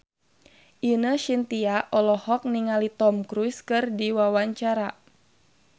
Ine Shintya olohok ningali Tom Cruise keur diwawancara